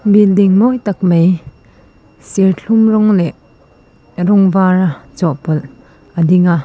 building mawi tak mai serthlum rawng leh rawng var a chawhpawlh a ding a.